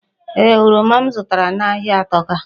Ee, oroma m zụtara n'ahịa atọka.